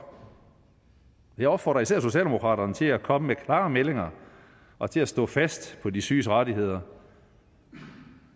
jeg opfordrer især socialdemokraterne til at komme med klare meldinger og til at stå fast på de syges rettigheder